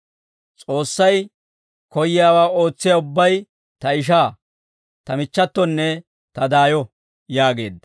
S'oossay koyyiyaawaa ootsiyaa ubbay ta ishaa, ta michchatonne ta daayo» yaageedda.